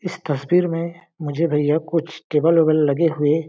इस तस्वीर मे मुझे भैया कुछ टेबल उबल लगे हुए--